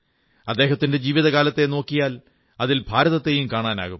അദ്ദേഹത്തിന്റെ ജീവിതകാലത്തെ നോക്കിയാൽ അതിൽ ഭാരതത്തെയും കാണാനാകും